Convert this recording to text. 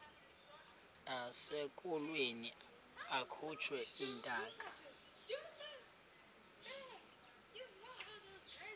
nasekulweni akhutshwe intaka